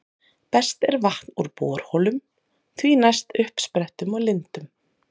Best er vatn úr borholum, því næst uppsprettum og lindum.